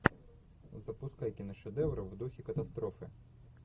запускай киношедевр в духе катастрофы